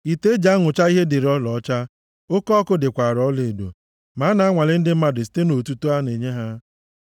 Ite eji anụcha ihe dịrị ọlaọcha, oke ọkụ dịkwara ọlaedo ma a na-anwale ndị mmadụ site nʼotuto a na-enye ha.